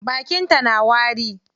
Bakin ta na wari?